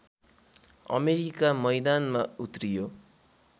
America मैदानमा उत्रियो